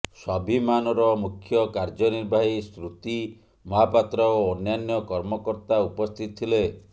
ସ୍ୱାଭିମାନର ମୁଖ୍ୟ କାର୍ଯ୍ୟନିର୍ବାହୀ ଶ୍ରୁତି ମହାପାତ୍ର ଓ ଅନ୍ୟାନ୍ୟ କର୍ମକର୍ତା ଉପସ୍ଥିତ ଥିଲେ